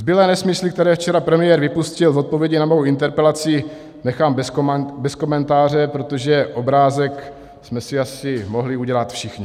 Zbylé nesmysly, které včera premiér vypustil v odpovědi na mou interpelaci, nechám bez komentáře, protože obrázek jsme si asi mohli udělat všichni.